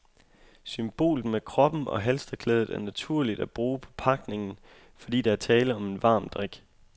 Symbolet med koppen og halstørklædet er naturligt at bruge på pakningen, fordi der er tale om en varm drik.